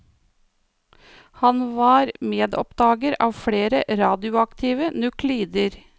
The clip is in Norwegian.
Han var medoppdager av flere radioaktive nuklider.